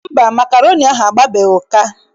Mba, makroni ahụ agbabeghị ụka.